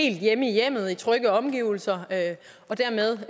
helt hjemme i hjemmet i trygge omgivelser og dermed